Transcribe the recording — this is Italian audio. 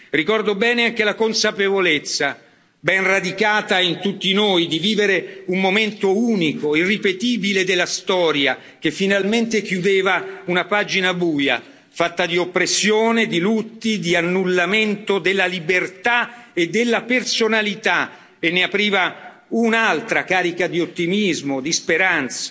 Ricordo bene anche la consapevolezza, ben radicata in tutti noi, di vivere un momento unico e irripetibile della storia che finalmente chiudeva una pagina buia, fatta di oppressione, di lutti, di annullamento della libertà e della personalità, e ne apriva un'altra carica di ottimismo, di speranza.